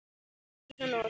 Hann lítur svona út